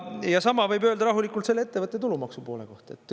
Ja sama võib öelda rahulikult selle ettevõtte tulumaksu poole kohta.